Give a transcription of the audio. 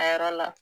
A yɔrɔ la